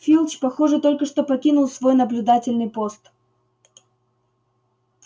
филч похоже только что покинул свой наблюдательный пост